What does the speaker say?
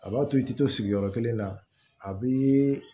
A b'a to i tɛ to sigiyɔrɔ kelen na a bɛ